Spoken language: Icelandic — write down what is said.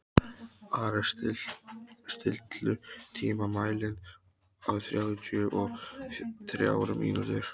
Ares, stilltu tímamælinn á þrjátíu og þrjár mínútur.